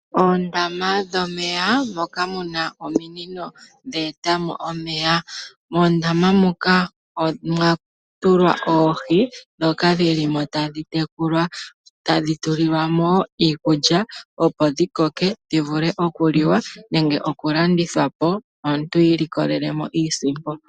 Oondama dhomeya dhina ominino ndhoka dhe e tamo omeya. Moondama omwatulwa oohi tadhi tekulwa, otadhi tulilwamo iikulya opo dhi koke dhivule okuliwa nenge okulandithwapo nelalakano lyoku imonena iisimpo